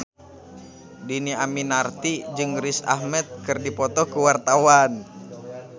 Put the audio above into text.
Dhini Aminarti jeung Riz Ahmed keur dipoto ku wartawan